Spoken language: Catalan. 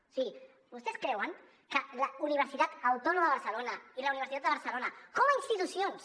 o sigui vostès creuen que la universitat autònoma de barcelona i la universitat de barcelona com a institucions